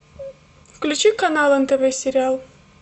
включи канал нтв сериал